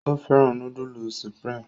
O féràn nudulu Supreme